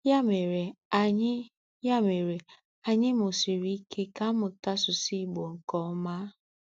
Ya mere, anyi Ya mere, anyi musiri ike ka muta asusu igbo nke oma.